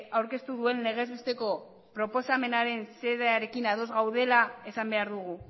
aurkeztu duen legez besteko proposamenaren xedearen ados gaudela esan behar dugu